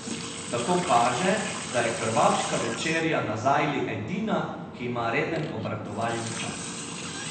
Tako kaže, da je krvavška večerja na zajli edina, ki ima reden obratovalni čas.